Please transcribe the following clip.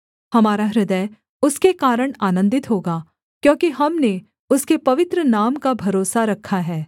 हमारा हृदय उसके कारण आनन्दित होगा क्योंकि हमने उसके पवित्र नाम का भरोसा रखा है